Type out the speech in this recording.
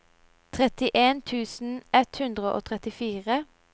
trettien tusen ett hundre og trettifire